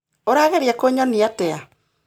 Ũrageria kũnyonia atĩa?